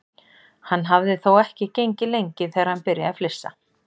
Hann hafði þó ekki gengið lengi þegar hann byrjaði að flissa.